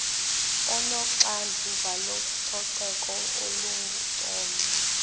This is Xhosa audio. onoxanduva lococeko olungcono